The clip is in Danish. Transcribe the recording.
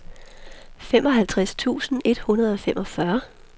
femoghalvtreds tusind et hundrede og femogfyrre